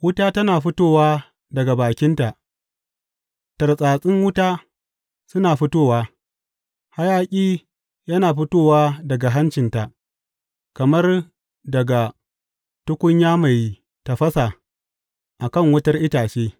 Wuta tana fitowa daga bakinta; tartsatsin wuta suna fitowa, Hayaƙi yana fitowa daga hancinta kamar daga tukunya mai tafasa a kan wutar itace.